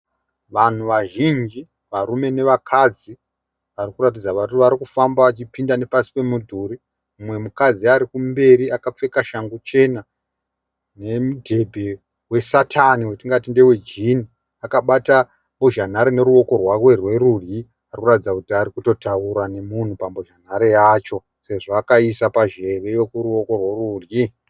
Vanhu vazhinji, varume nevakadzi varikuratidza kuti varikufamba vachipinda nepasi pemudhuri, mumwe mukadzi arikumberi akapfeka shangu chena nemudhebhe wesatani watingati ndewe jini akabata mbozhanhare neruoko rwake rwerudyi, arikuratidza kuti arikutotaura nemunhu pambozhanhare yacho, sezvo akaiisa panzeve yokuruoko rwerudyi.